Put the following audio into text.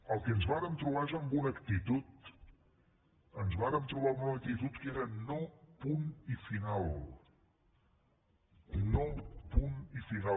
el que ens vàrem trobar és amb una actitud ens vàrem trobar amb una actitud que era no i punt final no i punt final